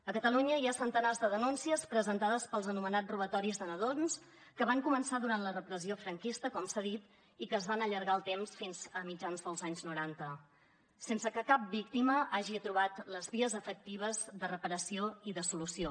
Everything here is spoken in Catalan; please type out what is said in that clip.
a catalunya hi ha centenars de denúncies presentades pels anomenats robatoris de nadons que van començar durant la repressió franquista com s’ha dit i que es van allargar en el temps fins a mitjans dels anys noranta sense que cap víctima hagi trobat les vies efectives de reparació i de solució